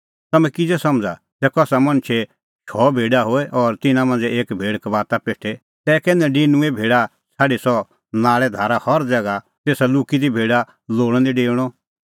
तम्हैं किज़ै समझ़ा ज़ै कसा मणछे शौ भेडा होए और तिन्नां मांझ़ै एक भेड़ कबाता पेठे तै कै नडिनुंऐं भेडा छ़ाडी सह नाल़ैधारा हर ज़ैगा तेसा लुक्की दी भेडा लोल़अ निं डेऊणअ